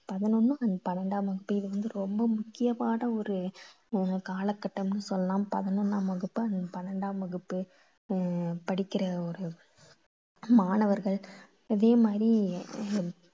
பதினொண்ணு and பன்னிரெண்டாம் வகுப்பு இது வந்து ரொம்ப முக்கியமான ஓரு ஆஹ் காலகட்டம்னு சொல்லலாம். பதினொண்ணாம் வகுப்பு and பன்னிரெண்டாம் வகுப்பு ஆஹ் படிக்கற ஒரு மாணவர்கள். அதே மாதிரி